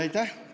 Aitäh!